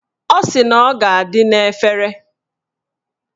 Ọ sị na ọ ga-adị n'efere